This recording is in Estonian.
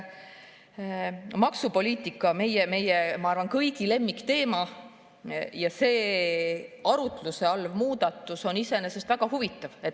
Maksupoliitika on, ma arvan, meie kõigi lemmikteema ja see arutluse all olev muudatus on iseenesest väga huvitav.